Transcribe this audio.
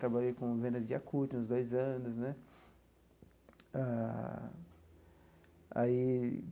Trabalhei com venda de Yakult uns dois anos né ah aí.